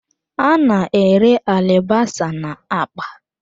A na-ere alibasa na akpa.